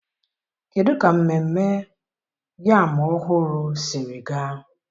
kedụ ka mmemme yam ọhụrụ siri gaa?